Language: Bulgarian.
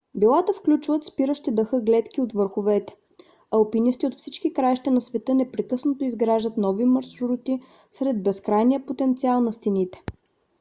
билата включват спиращи дъха гледки от върховете. алпинисти от всички краища на света непрекъснато изграждат нови маршрути сред безкрайния потенциал на стените